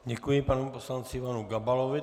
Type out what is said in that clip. Děkuji panu poslanci Ivanu Gabalovi.